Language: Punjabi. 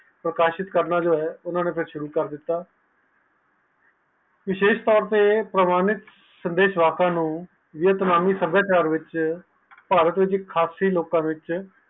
ਪ੍ਰਕਾਸ਼ਿਤ ਕਰਦਿੱਤਾ ਵਿਸ਼ੇਸ ਤੋਂ ਤੇ ਪ੍ਰਮਾਣਿਤ ਸੰਦੇਸ਼ ਵਾਸਾ ਨੂੰ ਅਪਨਾਨੀ ਸਾਬਿਆਚਾਰ ਵਿਚ ਭਾਰਤ ਵਿਚ ਆਪਸੀ ਲੋਕ ਵਿਚ